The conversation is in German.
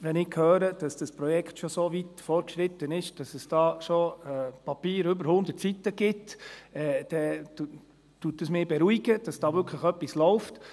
Wenn ich höre, dass das Projekt schon so weit fortgeschritten ist, dass es bereits über 100 Seiten Papier dazu gibt, beruhigt mich dies, weil wirklich etwas läuft.